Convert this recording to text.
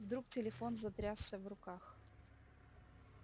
вдруг телефон затрясся в руках